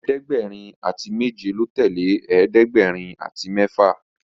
ẹ̀ẹ́dẹ̀gbẹ̀rin àti méje ló tẹlẹ ẹ̀ẹ́dẹ̀gbẹ̀rin àti méfà